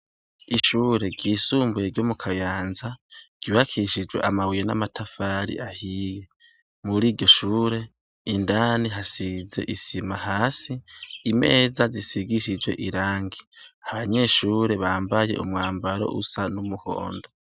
Ishure ryisumbuye ryo mu Kayanza ryubakishijwe amabuye n'amatafari ahiye. Muri iryo shure, indani hasize isima hasi, imeza zisigishijwe irangi. Abanyeshure bambaye umwambaro usa n'umuhondo.